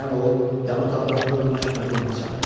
Birdən o yan otaqdan hövlünə ki məni yanına çağırdı.